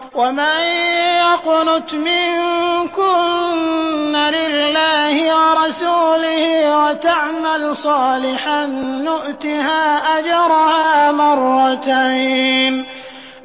۞ وَمَن يَقْنُتْ مِنكُنَّ لِلَّهِ وَرَسُولِهِ وَتَعْمَلْ صَالِحًا